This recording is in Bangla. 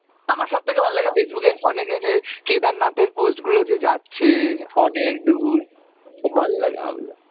আমার সব থেকে ভালো লাগে Facebook অনেকে যে কেদারনাথের post গুলো যে যাচ্ছে অনেকদূর, খুব ভালো লাগে আমার ওগুলো।